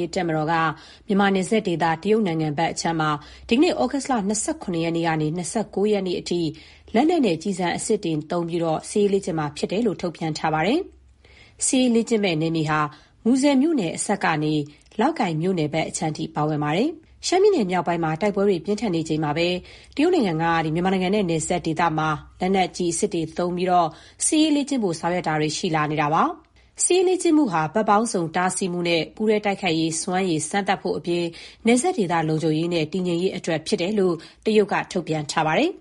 ရေးတပ်မတော်က မြန်မာနယ်စပ်ဒေသ တရုတ်နိုင်ငံဘက်အပိုင်းမှာ ဒီကနေ့ ဩဂုတ်လ ၂၇ ရက်ကနေ ၂၉ ရက်နေ့အထိ ကျည်ဆံ အစစ်နဲ့ စစ်ရေးလေ့ကျင့်မှာဖြစ်ကြောင်း ထုတ်ပြန်ထားပါတယ်။ စစ်ရေး လေ့ကျင့်မယ့်နယ်မြေဟာ မူဆယ်မြို့နယ်အစပ်ကနေ လောက်ကိုင် မြို့နယ်ဘက်အခြမ်းထိ ပါဝင်ပါတယ်။ စစ်ရေးလေ့ကျင့်မှုဟာ ဘက်ပေါင်းစုံ တားဆီးမှုနဲ့ ပူးတွဲတိုက်ခိုက်ရေး စွမ်းရည်စမ်းသပ်ဖို့ အပြင် နယ်စပ်ဒေသ လုံခြုံရေးနဲ့ တည်ငြိမ်ရေး အတွက် ဖြစ်တယ်လို့ တရုတ်က ထုတ်ပြန် ထားပါတယ်။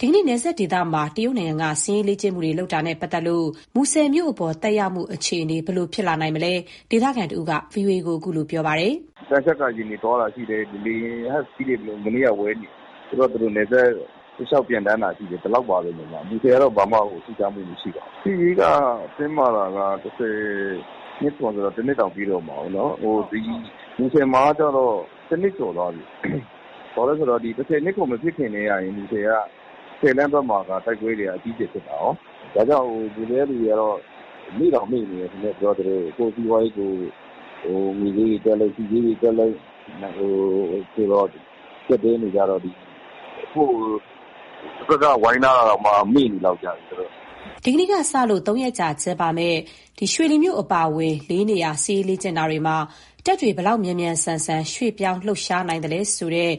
ဒီကနေ့ နယ်စပ်ဒေသမှာ တရုတ်နိုင်ငံက စစ်ရေးလေ့ကျင့်မှုတွေ လုပ်တာနဲ့ ပတ်သတ်လို့ မူဆယ်မြို့အပေါ် သက်ရောက်မှု အခြေအနေနဲ့ ပတ်သက်လို့ ဒေသခံတဦးက VOA ကို အခုလို ပြောပြပါတယ်။ "သံချပ်ကာယာဉ်တွေ သွားတာရှိတယ်။ မနေ့ကဆို ရဟတ်ယာဉ်တွေဝဲနေတယ်။ နယ်စပ်တလျှောက် ပျံသန်းတာရှိတယ်။ ဒီလောက်ပါဘဲ။ မူဆယ် ဘက်မှာတော့ ဘာမှထူးခြားမှုမရှိပါဘူး။ စစ်ရေးတင်းမာတာက ၁၀၂၇ထဲက ဆိုတော့ တနှစ်တောင် ပြည့်တော့မှာပေါ့နော်။ မူဆယ်မှာက တနှစ် ကျော်နေပြီ။ ဘာလို့ဆို ၁၀၂၇ မဖြစ်ခင်ကတည်းကနေ မူဆယ်က ဆယ်သန်းဘက်မှာတင်တိုက်ပွဲက အကြီးအကျယ်ဖြစ်တာကော။ ဒါကြောင့်မူဆယ်က လူတွေက မေ့တောင်မေ့နေတယ်။ ငွေစျေးတွေတက်လိုက်၊ ဆီစျေးတက်လိုက် ကျပ်တည်းနေတော့လေ တဖက်က ဝိုင်းထားတာတောင်မှ မေ့နေတယ်။" ဒီကနေ့ အင်္ဂါနေ့ကနေ ကြာသပတေးနေ့အထိ ရွှေလီမြို့အပါအဝင် လေးနေရာမှာ စစ်ရေးလေ့ကျင့်တာမှာ တပ်တွေ ဘယ်လောက်မြန်မြန် ဆန်ဆန် ရွှေ့ပြောင်းလှုပ်ရှားနိုင်လဲဆိုတဲ့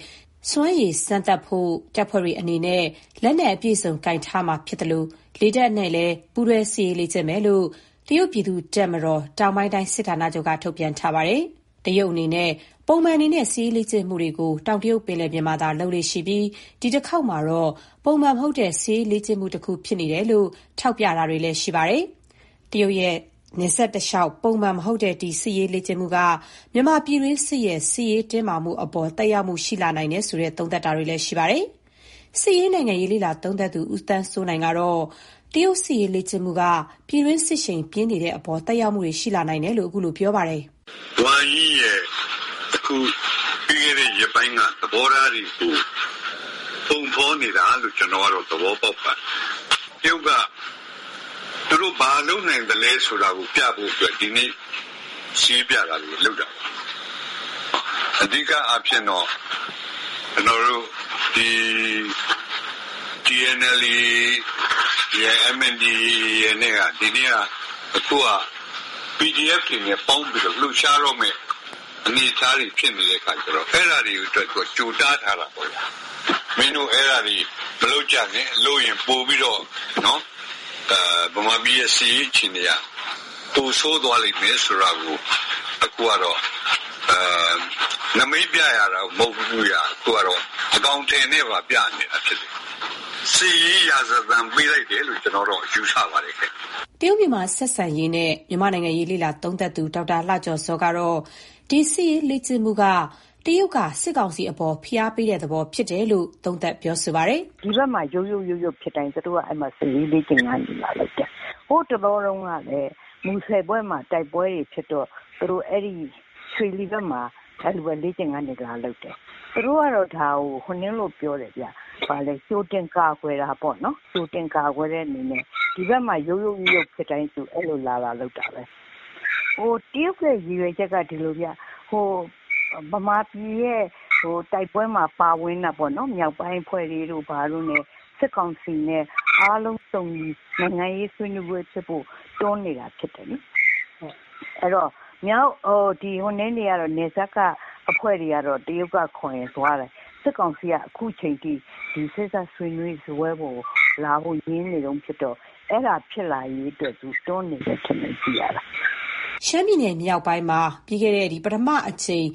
စွမ်းရည်စမ်းသပ်ဖို့ တပ်ဖွဲ့တွေအနေနဲ့ လက်နက်အပြည့်အစုံကိုင်ထားမှာ ဖြစ်သလို၊ လေတပ်နဲ့လည်း ပူးတွဲ လေ့ကျင့်မယ်လို့ တရုတ်ပြည်သူ့တပ်မတော် တောင်ပိုင်းတိုင်း စစ်ဌာနချုပ်က ထုတ်ပြန်ထားပါတယ်။ တရုတ်အနေနဲ့ ပုံမှန်အနေနဲ့ စစ်ရေးလေ့ကျင့်မှုတွေကို တောင်တရုတ်ပင်လယ်ပြင်မှာသာ လုပ်လေ့ရှိပြီး ဒီတခေါက်မှာတော့ပုံမှန်မဟုတ်တဲ့ စစ်ရေးလေ့ကျင့်မှုတခု ဖြစ်နေတယ်လို့ ထောက်ပြမှုတွေ ရှိနေပါတယ်။ တရုတ်ရဲ့နယ်စပ်တလျှောက်ပုံမှန်မဟုတ်တဲ့ ဒီစစ်ရေးလေ့ကျင့်မှုက မြန်မာပြည်တွင်းစစ်ရဲ့ စစ်ရေးတင်းမာမှုတွေအပေါ် သက်ရောက်မှုရှိလာနိုင်တယ်ဆိုတဲ့ သုံးသပ် မှုတွေလည်း ရှိနေပါတယ်။ စစ်ရေး နိုင်ငံရေး လေ့လာသုံးသပ်သူ ဦးသန်းစိုးနိုင်ကတော့ တရုတ်စစ်ရေးလေ့ကျင့်မှုက ပြည်တွင်းစစ်ရှိန်ပြင်းနေတဲ့အပေါ် သက် ရောက်မှုတွေ ရှိလာနိုင်တယ်လို့ ပြောပါတယ်။ "ဝမ်ယိရဲ့ ပြီးခဲ့တဲ့ရက်ပိုင်း သဘောထားတွေကို ပုံဖော်နေတာလို့ ကျနော်ကတော့ သဘောပေါက်ပါတယ်။ တရုတ်က သူတို့ဘာလုပ်နိုင်သလဲဆိုတာ ပြဖို့အတွက် ဒီနေ့ စစ်ရေးပြတာတွေကို လုပ်တာပါ။ အဓိကကတော့ TNLA ၊ MNDAA တို့က PDF တွေနဲ့ပေါင်းပြီး လှုပ်ရှားတော့မယ့် အနေအထားဖြစ်လို့ အဲဒါတွေကို ကြိုတားထားတဲ့သဘော ဖြစ်တာပေါ့။ မင်းတို့အဲဒါမလုပ်ကြနဲ့၊ ဗမာပြည်စစ်ရေးအခြေအနေ ပိုဆိုးသွားလိမ့်မယ် ဆိုတာကို။ အခုကတော့ နမိတ်ပြတာတင်မဟုတ်ဘူး အကောင်အထည်နဲ့ပါ ပြနေတာဖြစ်တယ်။ စစ်ရေးရာဇသံပေးတယ်လို့ ကျနော်တော့ ယူဆပါတယ်။" တရုတ်-မြန်မာဆက်ဆံရေးနဲ့ မြန်မာ့နိုင်ငံရေး လေ့လာသုံးသပ်သူ ဒေါက်တာလှကျော်ဇောကတော့ ဒီစစ်ရေးလေ့ကျင့်မှုက တရုတ်က စစ်ကောင်စီပေါ် ဖိအားတခုပေးတဲ့သဘော ဖြစ်တယ်လို့ အခုလိုသုံးသပ် ပြောဆိုလိုက်ပါတယ်။ "ဒီဘက်မှာ ရုတ်ရုတ်ဖြစ်တိုင်း သူတို့က အဲဘက်မှာ စစ်ရေးလေ့ကျင့်ခန်းတွေ လာလုပ်တယ်။ဟို းတလောတုန်းကလည်း မူဆယ်ဘက် တိုက်ပွဲတွေ ဖြစ်တော့ သူတို့ အဲဘက်မှာ၊ ရွှေလီဘက်မှာ လေ့ကျင့်ခန်းတွေ လာလုပ်တယ်။ သူတို့ကတော့ဒါကို ကြိုတင် ကာကွယ်တာပေါ့နော်။ ကြိုတင် ကာကွယ်တဲ့အနေနဲ့ ဒီဘက်မှာ ရုတ်ရုတ်ဖြစ်တိုင်းသူတို့ကအဲလိုလာလုပ်တာဘဲ။ တရုတ်ရည်ရွယ်ချက်က ဒီလိုဗျ။ ဗမာပြည်တိုက်ပွဲမှာ ပါဝင်နေတဲ့ မြောက်ပိုင်းအဖွဲ့တွေဘာတွေနဲ့ စစ်ကောင်စီနဲ့အားလုံး စုံညီ နိုင်ငံရေးဆွေးနွေးပွဲဖြစ်ဖို့ ပြောနေတာဖြစ်တယ်။ နယ်စပ်ကအဖွဲ့တွေကတော့ တရုတ်ကခေါ်ရင် သွားတယ်။ စစ်ကောင်စီက အခုအချိန်ထိ စေ့စပ်ဆွေးနွေးတဲ့ စားပွဲပေါ်ကို လာဖို့ငြင်းနေတုန်းဘဲ။ အဲဒါဖြစ်လာရေး တွန်းနေ တယ်ထင်တယ် ကြည့်ရတာ။" ပြီးခဲ့တဲ့ ရှမ်းပြည်နယ် မြောက်ပိုင်းမှာ ပထမအကြိမ်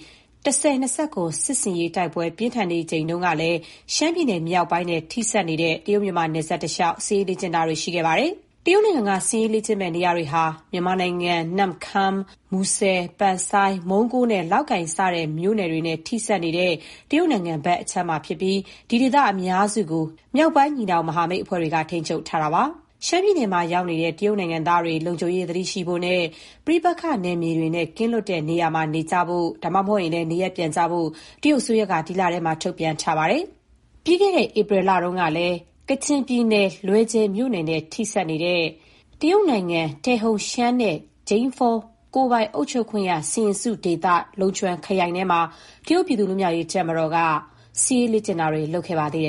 ၁၀၂၇ စစ်ဆင်ရေး တိုက်ပွဲ ပြင်းထန်နေချိန်မှာလည်း ရှမ်းပြည်နယ်မြောက်ပိုင်းနဲ့ ထိစပ်နေတဲ့ တရုတ်-မြန်မာ နယ်စပ်တစ်လျှောက် စစ်ရေးလင့်ကျင့်မှုတွေ လုပ်ခဲ့ပါတယ်။ တရုတ်နိုင်ငံက စစ်ရေးလေ့ကျင့်မယ့် နေရာတွေဟာ မြန်မာနိုင်ငံ နမ့်ခမ်း၊ မူဆယ်၊ ပန်ဆိုင်း၊ မုန်းကိုးနဲ့ လောက်ကိုင် စတဲ့မြို့နယ်တွေနဲ့ ထိစပ်နေတဲ့ တရုတ်နိုင်ငံဘက်အခြမ်းမှာဖြစ်ပြီး ဒီဒေသ အများစုကို ညီနောင်မဟာမိတ်အဖွဲ့တွေ ထိန်းချုပ်ထားတာပါ။ ရှမ်းပြည်နယ်မှာရောက်နေတဲ့ တရုတ်နိုင်ငံသားတွေ လုံခြုံရေးသတိရှိဖို့နဲ့ ပဋိပက္ခနယ်မြေတွေနဲ့ ကင်းလွတ်တဲ့ နေရာမှာနေဖို့၊ ဒါမှမဟုတ် နေရပ်ပြန်ဖို့ တရုတ်အစိုးရက ဒီလထဲမှာ ထုတ်ပြန်ထားပါတယ်။ ပြီးခဲ့တဲ့ ဧပြီလအတွင်းကလည်း ကချင်ပြည်နယ် လွယ်ဂျယ်မြို့နဲ့ ထိစပ်နေတဲ့ တရုတ်နိုင်ငံ၊ တယ်ဟုန်ရှမ်းနှင့် ဂျိန်းဖော ကိုယ်ပိုင်အုပ်ချုပ်ခွင့်ရ စီရင်စုဒေသ၊ လုံချွမ်ခရိုင်ထဲမှာ တရုတ်ပြည်သူ့ လွတ်မြောက်ရေးတပ်မတော်က စစ်ရေးလေ့ကျင့်မှုတွေ လုပ်ခဲ့ပါတယ်။